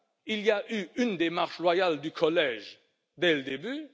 il y a eu une démarche loyale du collège dès le début.